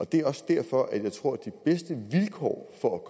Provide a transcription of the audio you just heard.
det er også derfor at jeg tror at de bedste vilkår for at